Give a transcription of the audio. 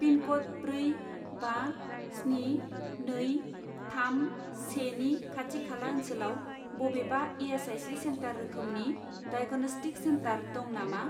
पिनक'ड ब्रै बा स्नि नै थाम से नि खाथि खाला ओनसोलाव बबेबा इ.एस.आइ.सि. सेन्टार रोखोमनि डाइग'नस्टिक सेन्टार दं नामा?